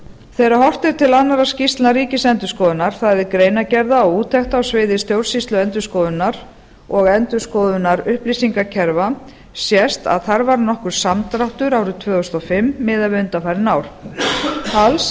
þegar horft er til annarra skýrslna ríkisendurskoðunar það er greinargerða og úttekta á sviði stjórnsýslu og endurskoðunar og endurskoðunar upplýsingakerfa sést að þar varð nokkur samdráttur árið tvö þúsund og fimm miðað við undanfarin ár alls